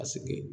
A sigi